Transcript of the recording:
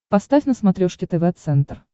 поставь на смотрешке тв центр